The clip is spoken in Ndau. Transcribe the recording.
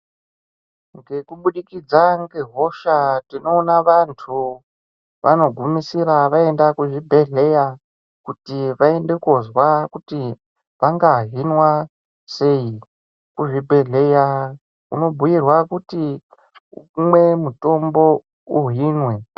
Ngekubudukidza ngehosha tinoona vantu vanogumisira vaenda kuzvibhedhleya kuti vaende kozwa kuti vangahimwa sei . Kuzvibhedhleya unobhuyirwa kuti umwe mutombo uhimwe.